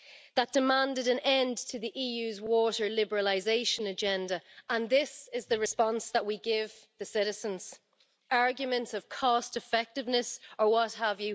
That demanded an end to the EU's water liberalisation agenda and this is the response that we give the citizens arguments of cost effectiveness or what have.